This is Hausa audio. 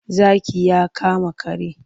Zaki ya kama kare.